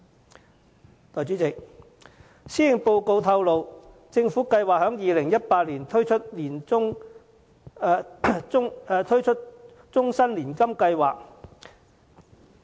代理主席，政府計劃在2018年推出終身年金計劃。